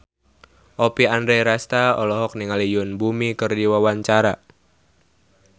Oppie Andaresta olohok ningali Yoon Bomi keur diwawancara